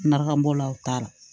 Naramu bɔlaw t'a la